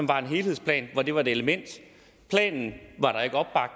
var en helhedsplan hvor det var et element planen